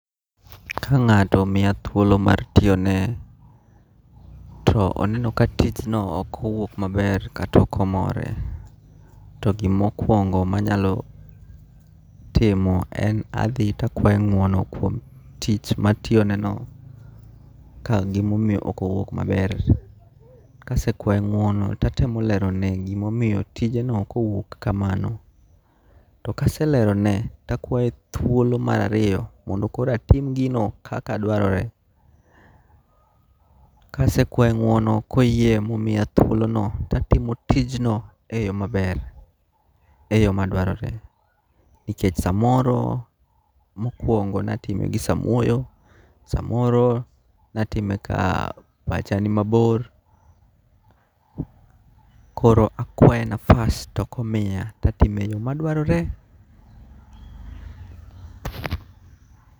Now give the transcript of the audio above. Ka nga'to omiya thuolo mar tiyone to oneno ka tijno okowuok maber kata okomore, to gima okuongo manyalo timo en adhi to akwaye ngu'ono kuom tich matiyoneno ka gimomiyo okowuok maber. Kasekwaye ngu'ono to atemo alerone gimomiyo tijeno okowuok kamano, to kaselerono to akwaye thuolo marariyo mondo koro atimgino kaka dwarore , kasekwaye ngu'ono koyie ma omiya thuolono to atimo tijno e yo maber, e yo madwarore, nikech samoro mokuongo' natime gi samuoyo, samoro natime ka pacha ni mabor koro akwaye nafas to komiya to atime e yo madwarore.